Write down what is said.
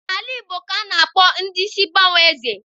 N'alaeze Igbo ka a na-akpọ ndị isi mgbanwe Eze.